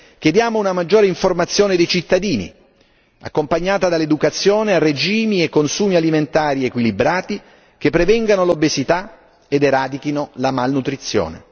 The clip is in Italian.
Chiediamo una maggiore informazione dei cittadini, accompagnata dall'educazione a regimi e consumi alimentari equilibrati che prevengano l'obesità ed eradichino la malnutrizione.